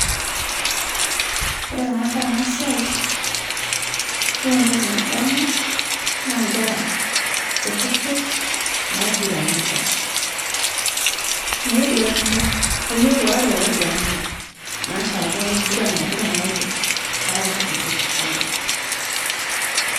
Kore tanadol ana siai, yiolo ntoki nadamu, naa nkera, kutitik naiguranita, naiguranita layiok oare loiguranita, naashake nkuguran naiguran layiok nkera kutitik layiok.